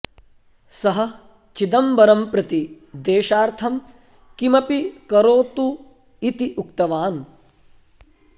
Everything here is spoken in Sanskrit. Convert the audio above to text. सः चिदम्बरं प्रति देशार्थं किमपि करोतु इति उक्तवान्